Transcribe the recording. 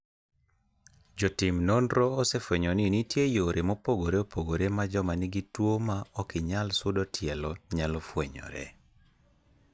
Jotim nonro osefwenyo ni nitie yore mopogore opogore ma joma nigi tuo ma okinyal sudo tielo nyalo fwenyoree.